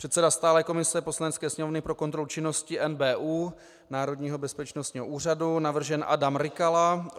Předseda stálé komise Poslanecké sněmovny pro kontrolu činnosti NBÚ, Národního bezpečnostních úřadu - navržen Adam Rykala.